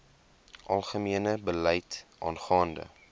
algemene beleid aangaande